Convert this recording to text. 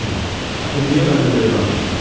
Polina, axı niyə mənlə belə danışırsız?